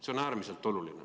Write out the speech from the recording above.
See on äärmiselt oluline.